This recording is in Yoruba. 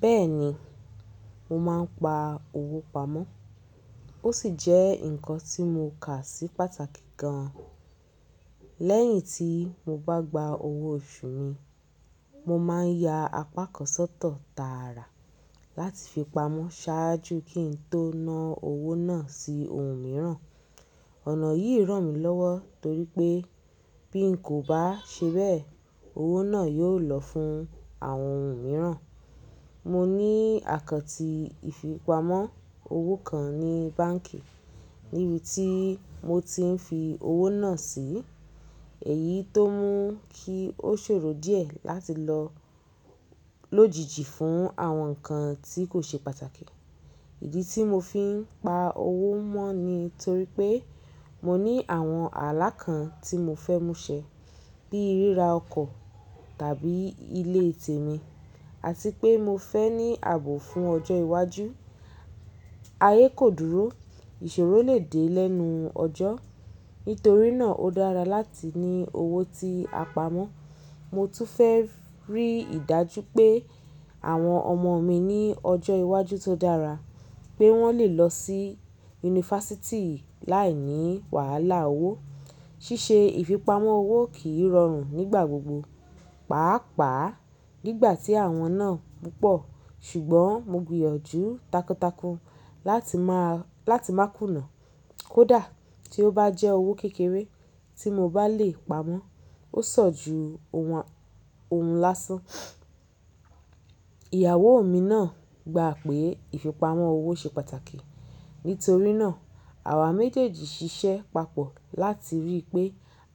Bẹ́ẹ̀ni, mo máa ń pa owó pamọ́. Ó sì jẹ́ nǹkan tí mo kà sí pàtàkì gan-an. Lẹ́yìn tí mo bá gba owó oṣù mi, mo máa ń ya apá kan sọ́tọ̀ tààrà láti fi pamọ́ ṣáájú kí n tó na owó náà sí ohun mìíràn. Ọ̀nà yìí ràn mí lọ́wọ́ torí pé bí n kò bá ṣe bẹ́ẹ̀, owó náà yóò lọ fún àwọn ohun mìíràn. Mo ní àkọ́ntì ìfipamọ́ owó kan ní báǹkì níbi tí mo ti ń fi owó náà sí. Èyí tó mú kí ó ṣòro díẹ̀ láti lọ lòjijì fún àwọn nǹkan tí kò ṣe pàtàkì. Ìdí tí mo fi ń pa owó mọ́ ni torí pé mo ní àwọn alákàn tí mo fẹ́ mú ṣẹ, bíi ríra ọkọ̀ tàbí ilé tèmi àti pé mo fẹ́ ní ààbò fún ọjọ́ iwájú. Ayé kò dúró, ìṣòro lè dé lẹ́nu ọjọ́. Nítorí náà ó dára láti ní owó tí a pamọ́. Mo tún fẹ́ rí ìdájú pé àwọn ọmọ mi ní ọjọ́ iwájú tó dára, pé wọ́n lè lọ sí yunifásítì láìní wàhálà owó. Ṣíṣe ìfipamọ́ owó kìí rọrùn nígbà gbogbo, pàápàá nígbà tí àwọn náà púpọ̀. Ṣùgbọ́n mo gbìyànjú takuntakun láti máa, láti máa kùnà. Kódà tí ó bá jẹ́ owó kékeré tí mo bá lè pamọ́, ó san ju ohun, ohun lásán. Ìyàwó mi náà gba pé ìfipamọ́ owó ṣe pàtàkì. Nítorí náà àwa méjèèjì ń ṣiṣẹ́ papọ̀ láti rí pé